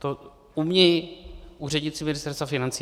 To umějí úředníci Ministerstva financí.